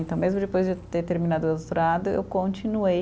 Então, mesmo depois de eu ter terminado o doutorado, eu continuei.